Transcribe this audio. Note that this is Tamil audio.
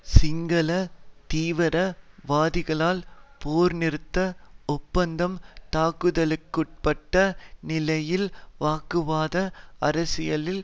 சிங்கள தீவிர வாதிகளால் போர்நிறுத்த ஒப்பந்தம் தாக்குதலுக்குட்பட்ட நிலையில் வகுப்புவாத அரசியலில்